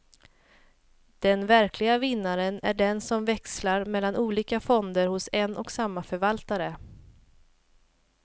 Den verkliga vinnaren är den som växlar mellan olika fonder hos en och samma förvaltare.